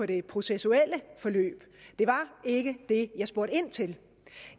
det processuelle forløb det var ikke det jeg spurgte ind til det